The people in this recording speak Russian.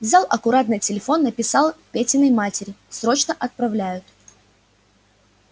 взял аккуратно телефон написал петиной матери срочно отправляют